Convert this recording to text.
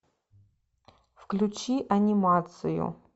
включи анимацию